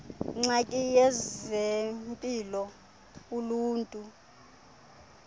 ngxaki yezempilo uluntu